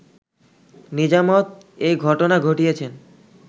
নিজামত এ ঘটনা ঘটিয়েছেন